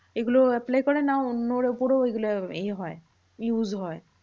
এগুলো apply করে না অন্যের উপরও ওগুলো এ হয় use হয়।